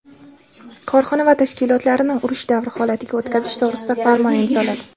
korxona va tashkilotlarini urush davri holatiga o‘tkazish to‘g‘risida farmon imzoladi.